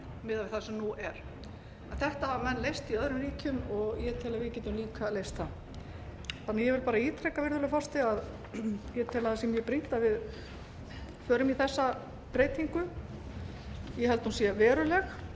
miðað við það sem nú er en þetta hafa menn leyst í öðrum ríkjum og ég tel að við getum líka leyst það ég vil bara ítreka virðulegi forseti að ég tel að það sé mjög brýnt að við förum í þessa breytingu ég held að hún sé veruleg ég